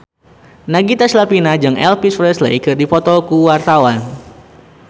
Nagita Slavina jeung Elvis Presley keur dipoto ku wartawan